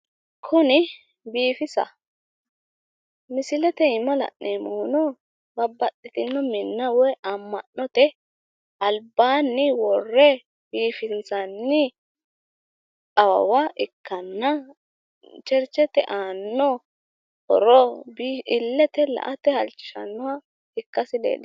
Kuni biifisaho. Misilete iima la’neemmohuno babbaxxitino minna woy amma’note albaanni worre biifinsanni awawa ikkanna, cherchete aanno horo illete la''ate halchishannoha ikkasi leellishanno.